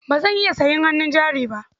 Ba zan iya sayan hannun jari ba.